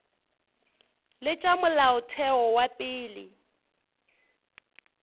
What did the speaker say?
le tša molaotheo wa pele